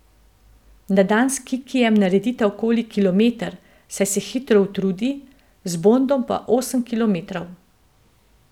Na dan s Kikijem naredita okoli kilometer, saj se hitro utrudi, z Bondom pa osem kilometrov.